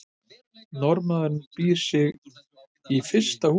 norðmaðurinn býr í fyrsta húsinu